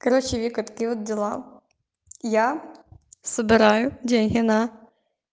короче вика такие вот дела я собираю деньги на